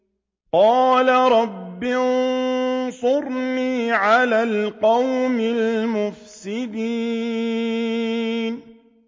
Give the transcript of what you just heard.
قَالَ رَبِّ انصُرْنِي عَلَى الْقَوْمِ الْمُفْسِدِينَ